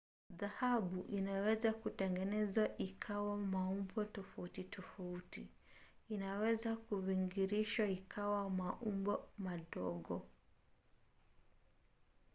dhahabu inaweza kutengenezwa ikawa maumbo tofauti tofauti. inaweza kuvingirishwa ikawa maumbo madogo